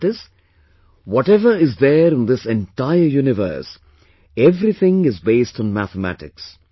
That is, whatever is there in this entire universe, everything is based on mathematics